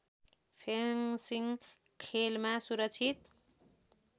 fencing खेलमा सुरक्षित